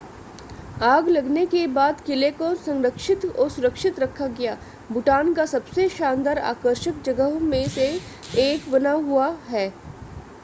आग लगने के बाद किले को संरक्षित और सुरक्षित रखा गया भूटान का सबसे शानदार आकर्षक जगहों में से एक बना हुआ है